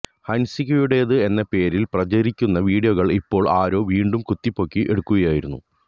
ഹന്സികയുടേത് എന്ന പേരില് പ്രചരിയ്ക്കുന്ന വീഡിയോ ഇപ്പോള് ആരോ വീണ്ടും കുത്തിപ്പൊക്കി എടുക്കുകയായിരുന്നു